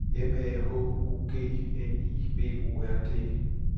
M A H O G N I B O R D